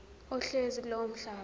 ohlezi kulowo mhlaba